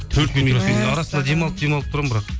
арасында демалып демалып тұрамын бірақ